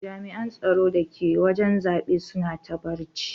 Jami'an tsaro da ke wajen zabe suna ta barci.